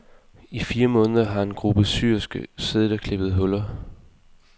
I fire måneder har en gruppe syersker siddet og klippet huller.